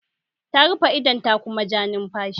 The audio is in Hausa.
Ta rufe idon ta kuma ta ja numfashi.